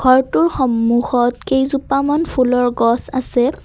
ঘৰটোৰ সন্মুখত কেইজোপামান ফুলৰ গছ আছে।